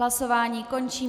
Hlasování končím.